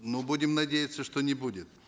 ну будем надеяться что не будет